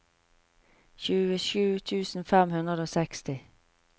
tjuesju tusen fem hundre og seksti